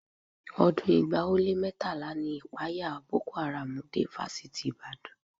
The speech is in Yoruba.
Ọdún ẹgbàá ó lé mẹ́tàlá ni ìpayà Boko Haram dé Fásitì Ìbàdàn